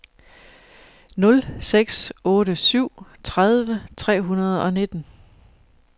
nul seks otte syv tredive tre hundrede og nitten